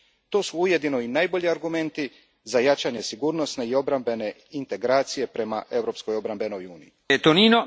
To su ujedno i najbolji argumenti za jačanje sigurnosne i obrambene integracije prema europskoj obrambenoj uniji.